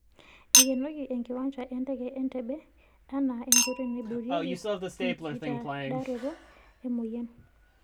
Eikenoki enkiwancha enteke e Entebbe anaa enkoitio naiboorieki enkitadaroto emoyian.